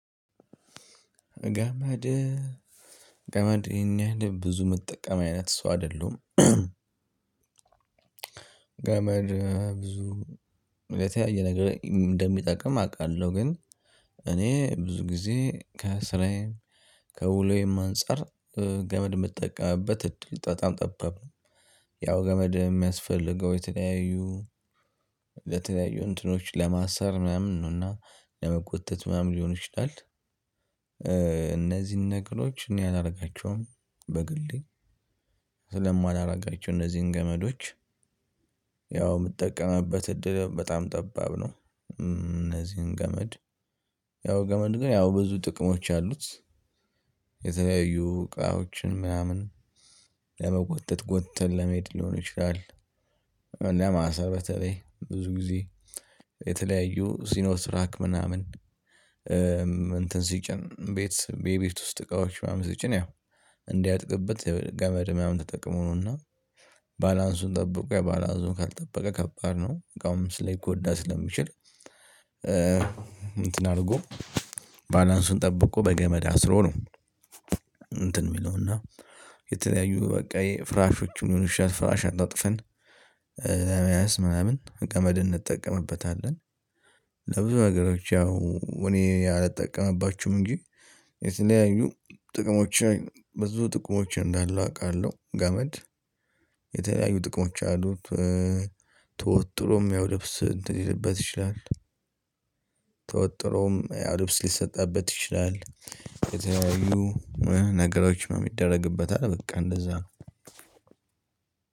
ገመድ ገመድ ይሄን ያህል ብዙ የምትጠቀም አይነት ሰው አይደለሁም። ገመድ ብዙ ለተለያየ ነገር እንደሚጠቅም አውቃለሁ ግን እኔ ብዙ ጊዜ ከስራዬም ከውሎዬም አንፃር ገመድ የምትጠቀመበት እድል በጣም ጠበብ ነው። ያው ገመድ የሚያስፈልገው የተለያዩ ለተለያዩ እንትኖች ለማሳር ምናምን ነውና ለመጎተት ምናምን ሊሆን ይችላል። እነዚህን ነገሮች እኔ አላደርጋቸውም በግሌ ስለማላደርጋቸው እነዚህን ገመዶች ያው የምትጠቀመበት እድል በጣም ጠባብ ነው። እነዚህን ገመድ ያው ገመድ ግን ያው ብዙ ጥቅሞች አሉት። የተለያዩ እቃዎችን ምናምን ለመጎተት ጎትተን ለመሄድ ሊሆን ይችላል። ለማሰር በተለይ ብዙ ጊዜ የተለያዩ ሲኖስራክ ምናምን እንትን ሲጭን ቤት ቤቢት ውስጥ እቃዎች ማም ሲጭን ያው እንዲይወድቅበት የገመድ ሙናምን ተጠቅሞ ነውና። ባላንሱን ጠብቆ የባላንሱን ካልጠበቀ ከባድ ነው እቃውም ልጎዳ ስለሚችል እንትን አድርጎ ባላንሱን ጠብቆ በገመድ አስሮ ነው። እንትን የሚለውና የተለያዩ በቃ የፍራሾችን ይሁን ፍራሽ አጣጥፈን ለመያዝ ምናምን ገመድ እንጠቀምበታለን። ለብዙ ነገሮች ያው እኔ አልጠቀምባችሁም እንጂ የተለያዩ ጥቅሞችን ብዙ ጥቅሞችን እንዳለው አውቃለሁ ገመድ የተለያዩ ጥቅሞች አሉት። ተወጥሮም ያው ልብስ እንትን ሊልበት ይችላል። ተወጥሮም ያው ልብስ ሊሰጣበት ይችላል። የተለያዩ ነገሮች ነው የሚደረግበት አለ በቃ እንደዛ ነው።